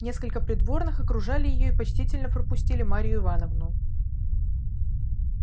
несколько придворных окружали её и почтительно пропустили марью ивановну